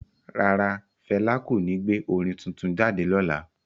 Rara, Fẹla ko ní gbé orin tuntun jáde lọla